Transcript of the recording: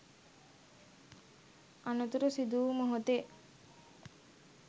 අනතුර සිදු වූ මොහොතේ